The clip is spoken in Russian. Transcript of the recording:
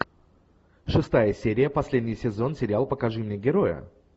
шестая серия последний сезон сериал покажи мне героя